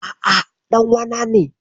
A'a, ɗanuwa na ne.